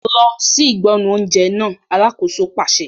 Lọ sí ìgbọnnu oúnjẹ náà! Alákòóso pàṣẹ.